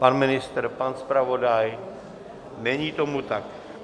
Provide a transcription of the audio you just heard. Pan ministr, pan zpravodaj, není tomu tak.